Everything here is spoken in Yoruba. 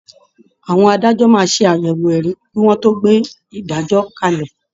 Àwọn adájọ́ máa ṣàyẹ̀wò ẹ̀rí kí wọ́n tó gbé ìdájọ́ kalẹ̀